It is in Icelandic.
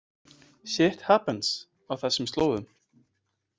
„Shit happens“ á þessum slóðum.